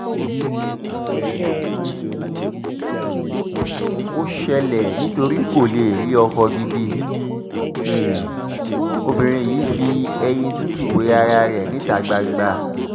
um ó ṣẹlẹ̀ nítorí kó lè rí ọkọ gidi um obìnrin yìí fi eyín tútù wé ara ẹ̀ níta gbangba